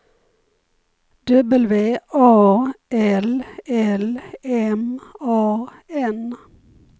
W A L L M A N